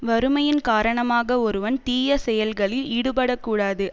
வறுமையின் காரணமாக ஒருவன் தீய செயல்களில் ஈடுபட கூடாது